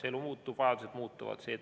Elu muutub, vajadused muutuvad.